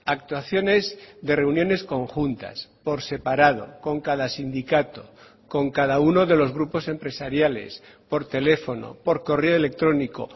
actuaciones de reuniones conjuntas por separado con cada sindicato con cada uno de los grupos empresariales por teléfono por correo electrónico